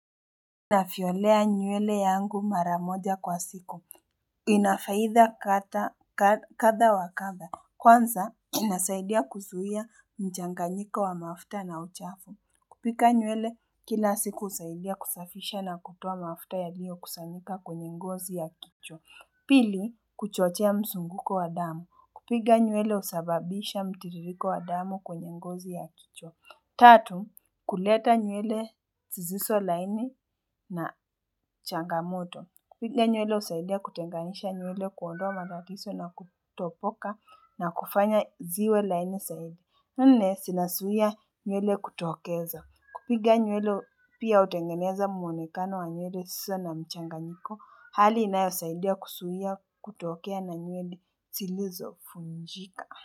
Navyolea nywele yangu mara moja kwa siku, ina faida kadhaa kadha wa kadha, kwanza inasaidia kuzuia mchanganyiko wa mafuta na uchafu, kupika nywele kila siku husaidia kusafisha na kutoa mafuta yaliyo kusanyika kwenye ngozi ya kichwa, pili kuchochea mzunguko wa damu, kupiga nywele husababisha mtiririko wa damu kwenye ngozi ya kichwa, tatu kuleta nywele zisizo laini na changamoto. Kupiga nywele husaidia kutenganisha nywele kuondoa matatizo na kutopoka na kufanya ziwe laini zaidi. Nne zinazuia nywele kutuokeza. Kupiga nywele pia hutengeneza muonekano wa nywele zisizo na mchanganyiko. Hali inayosaidia kuzuia kutokea na nywele zilizo vunjika.